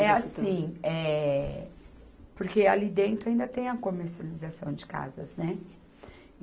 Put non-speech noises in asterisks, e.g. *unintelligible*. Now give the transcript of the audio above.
*unintelligible* É assim, eh, porque ali dentro ainda tem a comercialização de casas, né?